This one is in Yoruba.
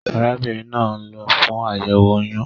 Arábínrin naa n lo fún àyèwò oyún